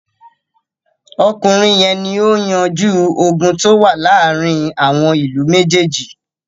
Ọkùnrin yẹn ni ó yanjú ogun tó wà láàárin àwọn ìlú méjèèjì.